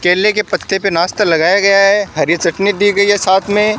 केले के पत्ते पे नाश्ता लगाया गया है हरी चटनी दी गई है साथ में।